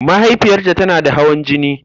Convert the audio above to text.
Mahaifiyarta tana da hawan jini.